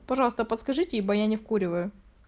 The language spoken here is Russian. пожалуйста подскажите ибо я не вкуриваю